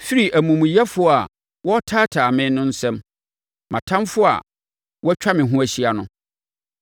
firi amumuyɛfoɔ a wɔretaataa me nsam, mʼatamfoɔ a wɔatwa me ho ahyia no.